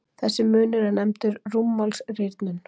Þessi munur er nefndur rúmmálsrýrnun.